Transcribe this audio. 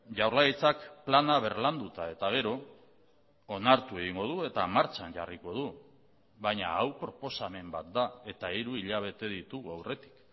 jaurlaritzak plana berlanduta eta gero onartu egingo du eta martxan jarriko du baina hau proposamen bat da eta hiru hilabete ditugu aurretik